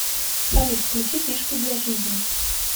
салют включи фишки для жизни